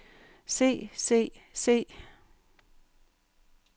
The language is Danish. se se se